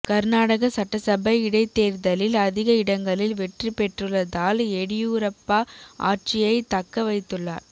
கர்நாடக சட்டசபை இடைத்தேர்தலில் அதிக இடங்களில் வெற்றி பெற்றுள்ளதால் எடியூரப்பா ஆட்சியை தக்க வைத்துள்ளார்